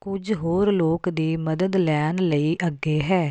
ਕੁਝ ਹੋਰ ਲੋਕ ਦੀ ਮਦਦ ਲੈਣ ਲਈ ਅੱਗੇ ਹੈ